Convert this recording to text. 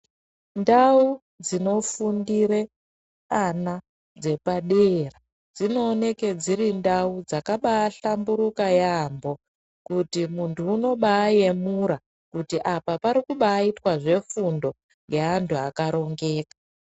Ndau dzinofundire vana dzepadera dzinooneke dziri ndau dzakabahlamburuka yaamho kuti munhu unobayemura kuti apa panobaitwa zvefundo yaantu akarongeka .